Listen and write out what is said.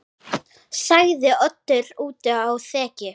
sagði Oddur úti á þekju.